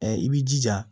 i b'i jija